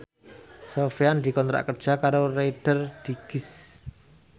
Sofyan dikontrak kerja karo Reader Digest